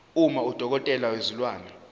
uma udokotela wezilwane